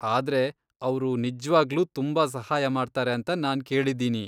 ಆದ್ರೆ, ಅವ್ರು ನಿಜ್ವಾಗ್ಲೂ ತುಂಬಾ ಸಹಾಯ ಮಾಡ್ತಾರೆ ಅಂತ ನಾನ್ ಕೇಳಿದ್ದೀನಿ.